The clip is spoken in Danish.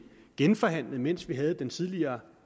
genforhandlet mens vi havde den tidligere